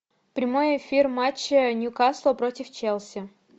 прямой эфир матча ньюкасла против челси